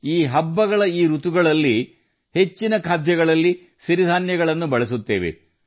ಈ ಹಬ್ಬ ಹರಿದಿನಗಳಲ್ಲಿ ಹೆಚ್ಚಿನ ಖಾದ್ಯಗಳಲ್ಲಿ ನಾವು ಹೆಚ್ಚಾಗಿ ಸಿರಿಧಾನ್ಯಗಳನ್ನು ಬಳಸುತ್ತೇವೆ